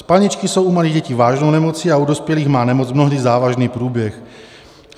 Spalničky jsou u malých dětí vážnou nemocí a u dospělých má nemoc mnohdy závažný průběh.